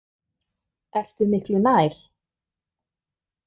Ertu miklu nær?